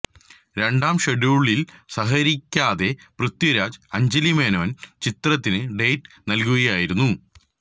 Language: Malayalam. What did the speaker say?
രണ്ടാം ഷെഡ്യൂളില് സഹകരിക്കാതെ പൃഥ്വിരാജ് അഞ്ജലി മേനോന് ചിത്രത്തിന് ഡേറ്റ് നല്കുകയായിരുന്നു